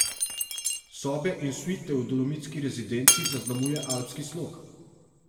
Sobe in suite v dolomitski rezidenci zaznamuje alpski slog.